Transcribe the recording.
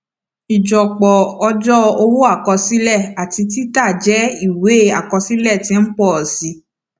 ijọpọ ọjọ owó àkọsílẹ àti títà jẹ ìwé àkọsílẹ tí ń pọ sí i